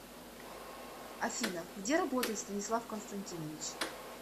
афина где работает станислав константинович